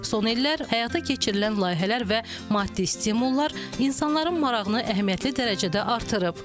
Son illər həyata keçirilən layihələr və maddi stimullar insanların marağını əhəmiyyətli dərəcədə artırıb.